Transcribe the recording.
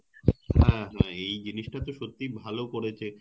হ্যাঁ হ্যাঁ এই জিনিস টা তো সত্যি ভালো করেছে